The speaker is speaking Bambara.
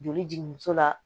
Joli jigin muso la